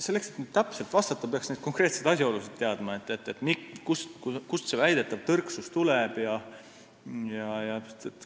Selleks, et täpselt vastata, peaks teadma konkreetseid asjaolusid – kust see väidetav tõrksus tuleb jne.